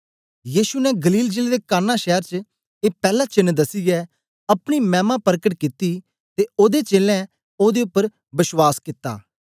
यीशु ने गलील जिले दे काना शैर च ए पैला चेन्न दसियै अपनी मैमा परकट कित्ती ते ओदे चेलें ओदे उपर बश्वास कित्ता